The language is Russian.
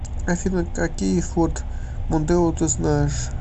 афина какие форд мондео ты знаешь